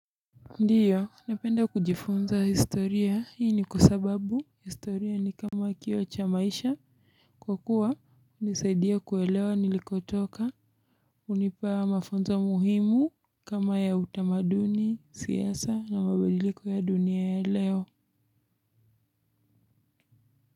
Ndiyo napenda kujifunza historia hii ni kwa sababu historia ni kama kioo cha maisha, kwa kuwa inaniisaidia kuelewa nilikotoka hunipa mafunzo muhimu kama ya utamaduni, siasa na mabadiliko ya dunia ya leo.